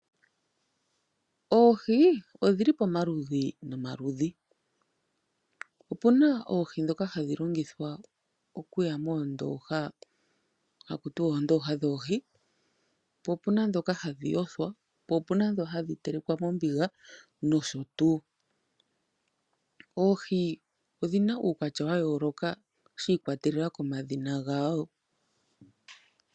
Oohi odhili pomaludhi nomaludhi, opuna oohi dhoka hadhi longithwa okuya moondoha haku tiwa oondoha dhoohi, opuna dhoka hadhi yothwa, opuna dhoka hadhi telekwa mombiga noshotu. Oohi odhina uukwatya wayoloka shi ikwatelela komadhina gawo.